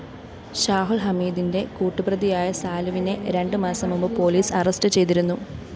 ഷാഹുല്‍ഹമീദിന്റെ കൂട്ടുപ്രതിയായ സാലുവിനെ രണ്ട് മാസം മുമ്പ് പോലീസ് അറസ്റ്റ്‌ചെയ്തിരുന്നു